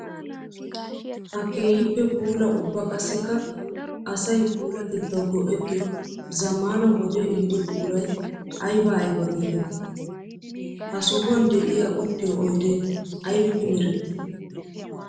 Ha keehippe puula ubba qassikka asay puulatettawu go'ettiyo zamaana wode ehiido buquray aybba aybba geetetti? Ha sohuwan de'iya uttiyo oydde aybbippe meretti?